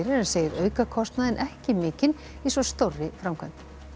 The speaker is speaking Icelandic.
en segir aukakostnaðinn ekki mikinn í svo stórri framkvæmd